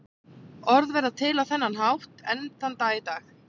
Orð verða til á þennan hátt enn þann dag í dag.